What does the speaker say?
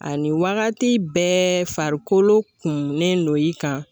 Ani wagati bɛɛ farikolo kumnen no i kan